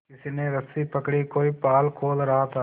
किसी ने रस्सी पकड़ी कोई पाल खोल रहा था